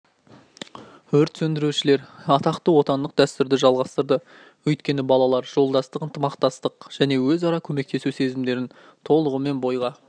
өрт сөндірушілер атақты отандық дәстүрді жалғастырды өйткені балалар жолдастық ынтымақтастық және өара көмектесу сезімдерін толығымен бойға